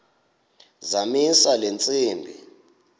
zamisa le ntsimbi